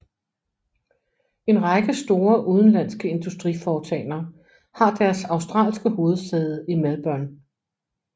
En række store udenlandske industriforetagender har deres australske hovedsæde i Melbourne